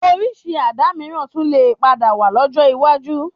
Orísìí Àdá mìíràn tún lè padà wà lọ́jọ́ iwájú